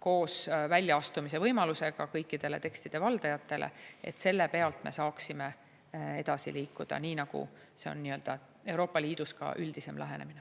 koos väljaastumise võimalusega kõikidele tekstide valdajatele ja selle pealt me saaksime edasi liikuda, nii nagu see on Euroopa Liidus ka üldisem lähenemine.